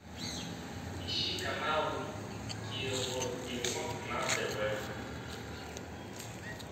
ищи канал никелодеон на тв